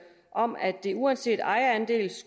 om at det uanset ejerandel